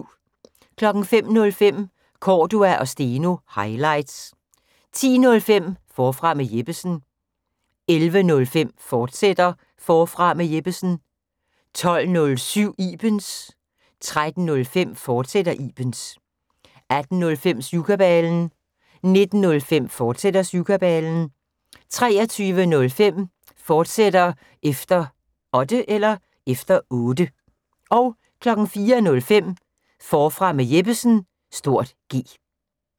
05:05: Cordua & Steno – highlights 10:05: Forfra med Jeppesen 11:05: Forfra med Jeppesen, fortsat 12:07: Ibens 13:05: Ibens, fortsat 18:05: Syvkabalen 19:05: Syvkabalen, fortsat 23:05: Efter Otte, fortsat 04:05: Forfra med Jeppesen (G)